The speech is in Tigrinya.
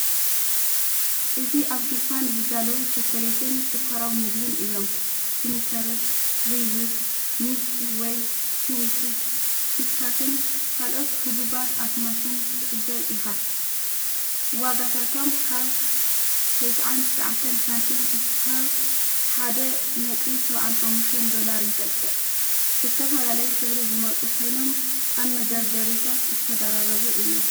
እዚ ኣብ ድኳን ዝዳለዉ ቸኮሌትን ሽኮራዊ ምግቢን እዮም። ስኒከርስ፡ ሪዝስ፡ ሚልኪ ዌይ፡ ትዊክስ፡ ኪትካትን ካልኦት ህቡባት ኣስማትን ክትዕዘብ ኢኻ። ዋጋታቶም ካብ 99 ሳንቲም ክሳብ 1.75 ዶላር ይበጽሕ። ብዝተፈላለየ ሕብሪ ዝመጹ ኮይኖም ኣብ መደርደሪታት ዝተደራረቡ እዮም።